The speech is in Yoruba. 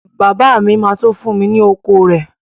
Bàbá mi ma tó fún mi ni oko rẹ